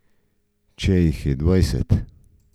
Če jih je dvajset?